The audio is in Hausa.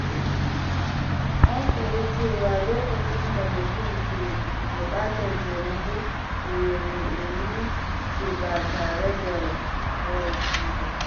Na koyi cewa lokacin da mutum ke buƙatar taimako, to ya nemi shi ba tare da kawaici ba.